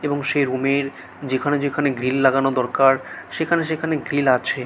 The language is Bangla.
এবং সে রুম এর যেখানে যেখানে গ্রিল লাগানো দরকার সেখানে সেখানে গ্রিল আছে।